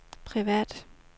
privat